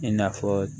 I n'a fɔ